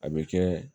A bɛ kɛ